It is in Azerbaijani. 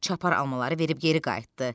Çapar almaları verib geri qayıtdı.